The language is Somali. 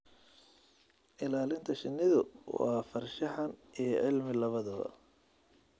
Ilaalinta shinnidu waa farshaxan iyo cilmi labadaba.